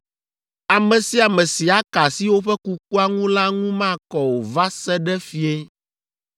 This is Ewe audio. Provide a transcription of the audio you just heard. “ ‘Ame sia ame si aka asi woƒe kukua ŋu la ŋu makɔ o va se ɖe fiẽ,